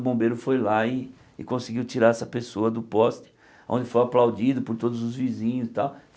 O bombeiro foi lá e e conseguiu tirar essa pessoa do poste, onde foi aplaudido por todos os vizinhos e tal.